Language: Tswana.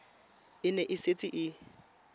e ne e setse e